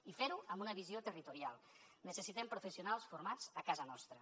i fer ho amb una visió territorial necessitem professionals formats a casa nostra